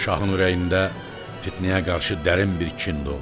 Şahın ürəyində Fitnəyə qarşı dərin bir kin doldu.